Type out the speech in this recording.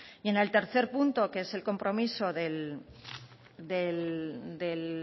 y en el tercer punto que es el compromiso